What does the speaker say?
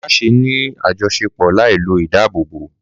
Má ṣe ní àjọṣepọ̀ láì lo ìdáàbòbò!